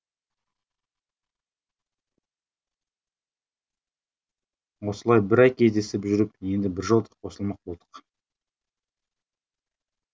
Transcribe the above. осылай бір ай кездесіп жүріп енді біржолата қосылмақ болдық